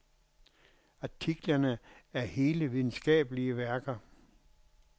Artiklerne er hele videnskabelige værker.